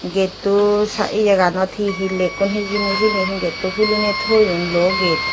getto sa iyeganot he he lekkon hijeni siyeni he getto huliney toion luo ged.